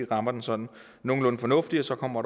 rammer den sådan nogenlunde fornuftigt så kommer